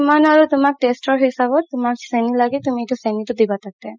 যিমাম আৰু তুমাৰ taste ৰ হিচাপত তুমাৰ চেনি লাগে তুমি চেনি দিবা তাতে